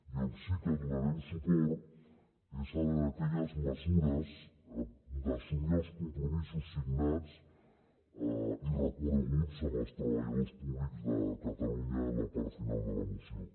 i on sí que donarem suport és a aquelles mesures d’assumir els compromisos signats i reconeguts amb els treballadors públics de catalunya en la part final de la moció